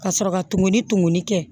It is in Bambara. Ka sɔrɔ ka tumu tumuni kɛ